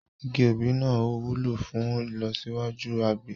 Igi òbí náà wúlò fún ìlọsíwájú àgbẹ̀